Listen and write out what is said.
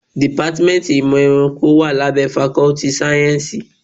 Dìpátmẹ́ntì ìmọ̀ ẹranko wá lábẹ́ fakọ́ltì sáyẹ́nsì.